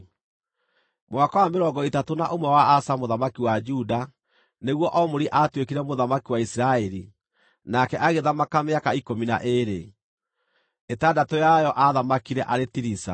Mwaka wa mĩrongo ĩtatũ na ũmwe wa Asa mũthamaki wa Juda, nĩguo Omuri aatuĩkire mũthamaki wa Isiraeli, nake agĩthamaka mĩaka ikũmi na ĩĩrĩ, ĩtandatũ yayo aathamakire arĩ Tiriza.